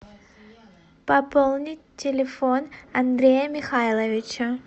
пополнить телефон андрея михайловича